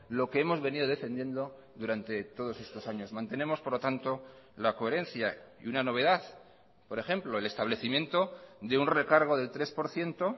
lo que hemos venido defendiendo durante todos estos años mantenemos por lo tanto la coherencia y una novedad por ejemplo el establecimiento de un recargo del tres por ciento